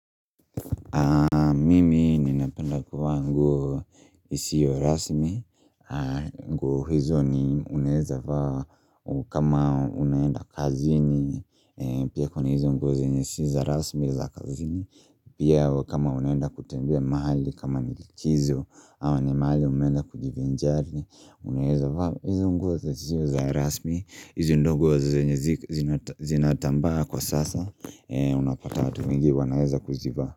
Mimi ninapenda kuvaa nguo isiyo rasmi nguo hizo ni uneeza vaa kama unaenda kazini Pia kwa ni hizo nguo zenyesi za rasmi za kazini Pia kama unaenda kutambea mahali kama nilikizo ama ni mahali umenda kujivi njari Unaeza vaa hizo nguo za ziyo za rasmi hizo ndogo wa zenyesi zinatambaa kwa sasa Unapata wa tuwingi wanaeza kuziva.